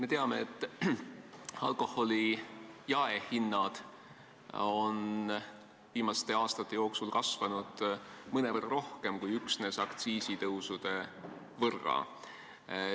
Me teame, et alkoholi jaehinnad on viimaste aastate jooksul tõusnud mõnevõrra rohkem kui üksnes suuremate aktsiiside võrra.